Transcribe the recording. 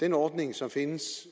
den ordning som findes